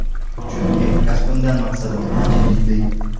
Chunki kasbimdan maqsadim ancha jiddiy.